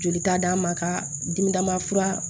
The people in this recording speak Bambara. Joli ta d'a ma ka dimidama fura